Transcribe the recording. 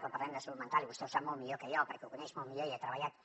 quan parlem de salut mental i vostè ho sap molt millor que jo perquè ho coneix molt millor i ha treballat